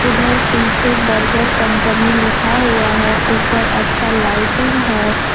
उधर पीछे burger company लिखा हुआ है ऊपर अच्छा लाइटिंग है।